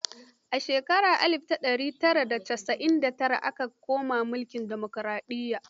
A shekarar alif da ɗari tara da casa'in da tara ta koma mulkin demokaraɗiyya.